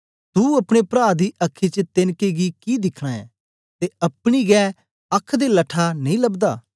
तू अपने प्रा दी अखी च तेनके गी कि दिखना ऐं ते अपनी गै अख दे लट्ठा नेई लबदा